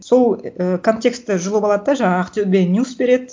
сол ііі контекстті жұлып алады да жаңа ақтөбе ньюс береді